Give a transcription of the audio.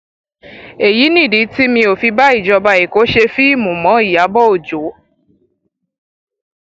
èyí nìdí tí mi ò fi bá ìjọba èkó ṣe fíìmù mọ ìyàbọ ọjọ